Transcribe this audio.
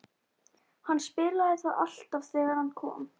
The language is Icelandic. Hann spilaði það alltaf þegar hann kom.